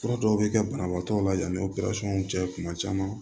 Fura dɔw bɛ kɛ banabaatɔ la yanni opɛrisɔn cɛ kuma caman